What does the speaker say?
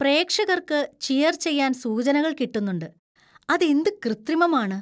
പ്രേക്ഷകർക്ക് ചിയര്‍ ചെയ്യാന്‍ സൂചനകൾ കിട്ടുന്നുണ്ട്, അതെന്ത് കൃത്രിമമാണ്.